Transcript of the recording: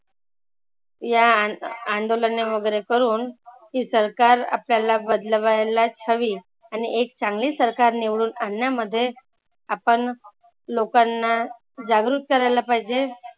या आ अंदोलने वगैरे करूण ही सरकार आपल्याला बदलवायलाचं हवी. आणि एक चांगली सरकार निवडून आणन्यामध्ये आपण लोकांना जागृत करायला पाहिजे